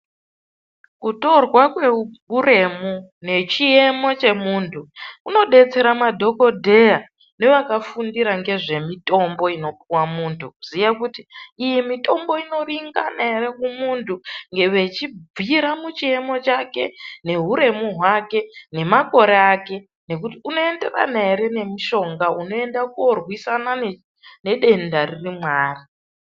Kutorwa kwehuremu nechiemo chemuntu kunodetsera madhokodheya nevakafundira ngezvemutombo inopuwa muntu kuziya kuti iyi mitombo inoringana ere kumuntu. Vechibvira pachiemo chake, nehuremu hwake, nemakore ake nekuti unoenderana ere nemushonga unoenda koorwisana nedenda riri mwaari.